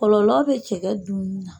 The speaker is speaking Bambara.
Kɔlɔlɔ bɛ cɛkɛ dunni na.